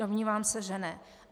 Domnívám se, že ne.